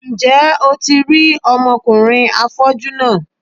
Ǹjẹ́ o ti rí ọmọkùnrin afọ́jú náà?